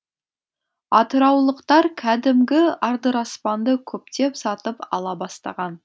атыраулықтар кәдімгі адыраспанды көптеп сатып ала бастаған